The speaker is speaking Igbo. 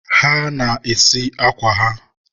ha ana-esi akwa ha?